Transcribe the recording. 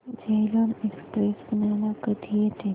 Jhelum express पुण्याला कधी येते